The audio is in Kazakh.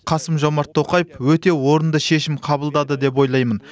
қасым жомарт тоқаев өте орынды шешім қабылдады деп ойлаймын